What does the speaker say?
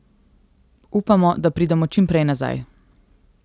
Upamo, da pridemo čim prej nazaj.